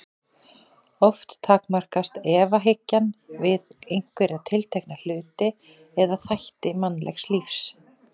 Oft takmarkast efahyggjan við einhverja tiltekna hluti eða þætti mannlegs lífs.